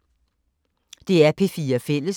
DR P4 Fælles